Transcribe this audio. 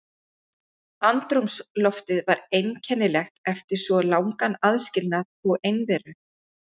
Andrúms loftið var einkennilegt eftir svo langan aðskilnað og einveru.